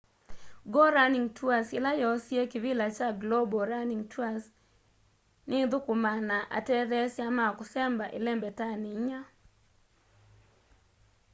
go running tours ila yoosie kivila cha global running tours ni ithũkũmaa na atetheesya ma kũsemba ĩlembetanĩ inya